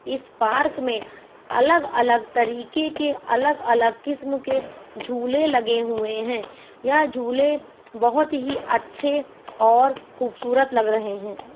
इस पार्क में अलग अलग तरीके के अलग अलग किस्म के झूले लगे हुए है यह झुले बहुत ही अच्छे और खुबसूरत लग रहे है।